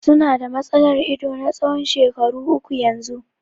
Su na da matsalar ido na tsawon shekaru uku yanzu.